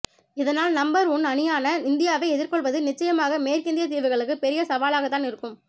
இதனால் number one அணியான இந்தியாவை எதிர்க்கொள்வது நிச்சயமாக மேற்கிந்தியத் தீவுகளுக்கு பெரிய சவாலாகத் தான் இருக்கும்